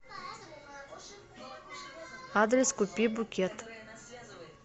адрес купи букет